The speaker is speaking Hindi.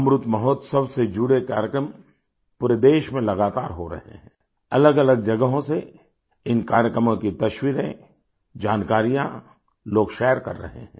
अमृत महोत्सव से जुड़े कार्यक्रम पूरे देश में लगातार हो रहे हैं अलगअलग जगहों से इन कार्यक्रमों की तस्वीरें जानकारियाँ लोग शेयर कर रहे हैं